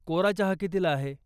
कोरा चहा कितीला आहे?